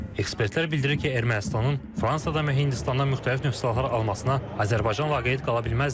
Ekspertlər bildirir ki, Ermənistanın Fransadan və Hindistandan müxtəlif növ silahlar almasına Azərbaycan vaqeid qala bilməzdi.